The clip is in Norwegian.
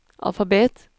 alfabet